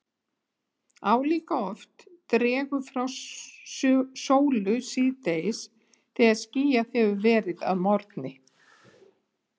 Álíka oft dregur frá sólu síðdegis þegar skýjað hefur verið að morgni.